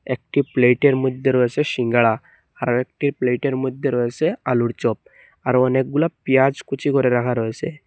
একটি প্লেটের মইধ্যে রয়েসে সিঙ্গারা আরো একটি প্লেটের মইধ্যে রয়েসে আলুর চপ আরো অনেকগুলি পেঁয়াজ কুচি করে রাখা রয়েছে।